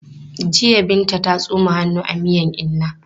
Jiya Binta ta tsoma hannu a miyan inna.